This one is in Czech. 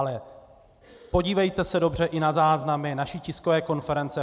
Ale podívejte se dobře i na záznamy naší tiskové konference.